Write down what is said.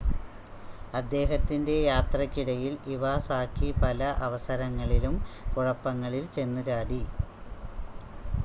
അദ്ദേഹത്തിൻ്റെ യാത്രയ്ക്ക് ഇടയിൽ ഇവാസാക്കി പല അവസരങ്ങളിലും കുഴപ്പങ്ങളിൽ ചെന്ന് ചാടി